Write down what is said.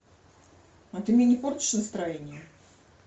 а ты мне не портишь настроение